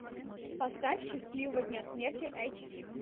поставь счастливого дня смерти айч ди